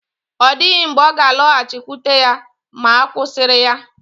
Ọ dịghị mgbe ọ ga-alọghachikwute ya ma a kụsịrị ya